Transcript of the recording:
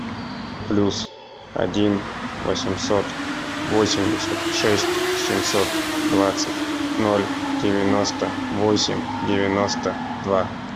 плюс один восемьсот восемьдесят шесть семьсот двадцать ноль девяносто восемь девяносто два